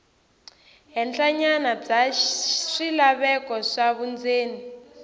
henhlanyana bya swilaveko swa vundzeni